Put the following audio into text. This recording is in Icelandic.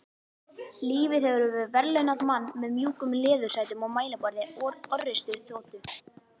Lífið hefur verðlaunað mann með mjúkum leðursætum og mælaborði orrustuþotu.